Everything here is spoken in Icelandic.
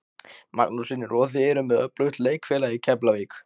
Magnús Hlynur: Og þið eruð með öflugt leikfélag í Keflavík?